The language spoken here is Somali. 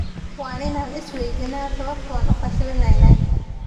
“Waa inaan is weydiinnaa sababta aan u fashilinaynay?